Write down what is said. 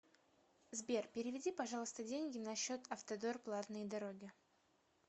сбер переведи пожалуйста деньги на счет автодор платные дороги